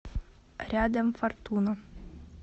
рядом фортуна